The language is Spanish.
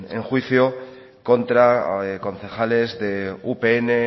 en juicio contra concejales de upn